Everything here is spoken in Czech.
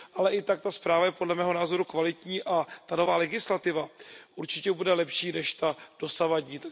Ale i tak ta zpráva je podle mého názoru kvalitní a nová legislativa určitě bude lepší než ta dosavadní.